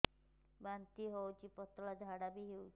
ବାନ୍ତି ହଉଚି ପତଳା ଝାଡା ହଉଚି